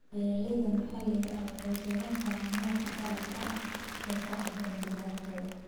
Beeralayda maxalliga ahi waxay beeran karaan noocyo dhaxal ah oo ku habboon deegaankooda.